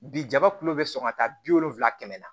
Bi jaba kulu bɛ sɔn ka taa bi wolonfila kɛmɛ la